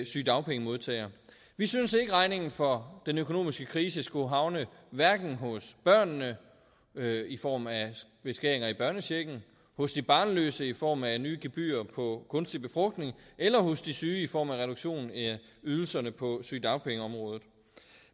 sygedagpengemodtagere vi synes ikke at regningen for den økonomiske krise skulle havne hverken hos børnene i form af beskæringer i børnechecken hos de barnløse i form af nye gebyrer på kunstig befrugtning eller hos de syge i form af reduktion af ydelserne på sygedagpengeområdet